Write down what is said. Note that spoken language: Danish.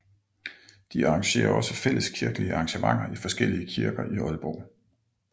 De arrangerer også fælleskirkelige arrangementer i forskellige kirker i Aalborg